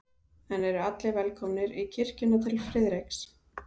En eru allir velkomnir í kirkjuna til Friðriks?